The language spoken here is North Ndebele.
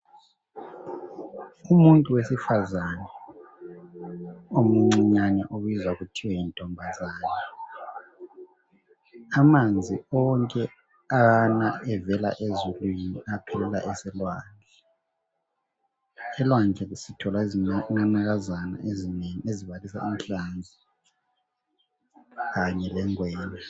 Umuntu wesifazana omncinyane obizwa kuthiwa yintombazana. Amanzi onke ana evela ezulwini aphelela eselwandle, elwandle zithola izinanakaza ezinengi ezibalisa inhlanzi kanye lengwenya.